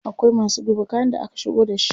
Akwai masu duba kayan da aka shigo da shi.